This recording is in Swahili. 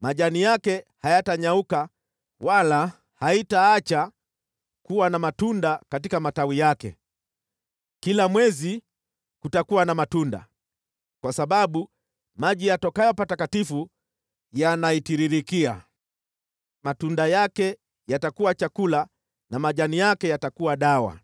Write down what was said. Majani yake hayatanyauka wala haitaacha kuwa na matunda katika matawi yake. Kila mwezi kutakuwa na matunda, kwa sababu maji yatokayo patakatifu yanaitiririkia. Matunda yake yatakuwa chakula na majani yake yatakuwa dawa.”